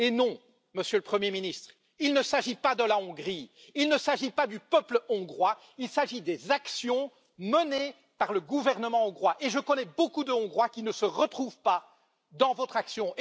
Eh non, Monsieur le Premier ministre, il ne s'agit pas de la Hongrie, il ne s'agit pas du peuple hongrois, il s'agit des actions menées par le gouvernement hongrois, et je connais beaucoup de Hongrois qui ne se retrouvent pas dans votre action.